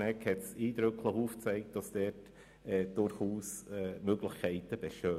Schnegg hat eindrücklich aufgezeigt, dass diesbezüglich durchaus Möglichkeiten vorhanden sind.